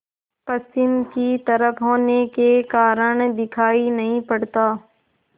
पश्चिम की तरफ होने के कारण दिखाई नहीं पड़ता